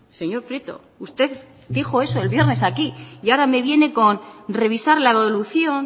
señor prieto usted dijo eso el viernes aquí y ahora me viene con revisar la evolución